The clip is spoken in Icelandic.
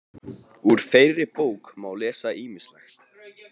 Úr þeirri bók má lesa ýmislegt.